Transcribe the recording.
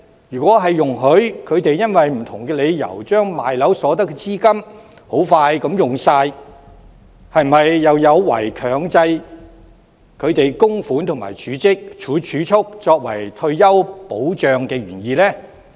如果容許他們因為不同理由，很快用光出售物業所得的資金，這是否有違強制他們供款及儲蓄，以作為退休保障的原意？